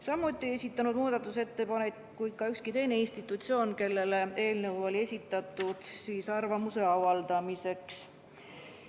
Samuti ei esitanud muudatusettepanekuid ükski teine institutsioon, kellele eelnõu oli arvamuse avaldamiseks esitatud.